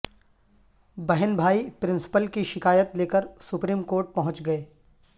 بہن بھائی پرنسپل کی شکایت لیکر سپریم کورٹ پہنچ گئے